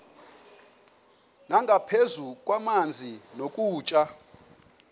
nangaphezu kwamanzi nokutya